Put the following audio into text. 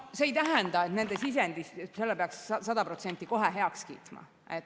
See ei tähenda, et nende sisendi peaks sada protsenti kohe heaks kiitma.